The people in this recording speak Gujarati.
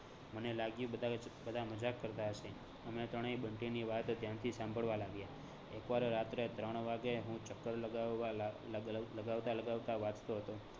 મને લાગ્યું બધાં જ બધા મજાક કરતા હસે. અમે ત્રણેય બંટીની વાત ધ્યાનથી સાંભળવાં લાગ્યા. એક વાર રાત્રે ત્રણ વાગે હું ચકકર લગાવવા લગા લગાવતા લગાવતા વાંચતો હતો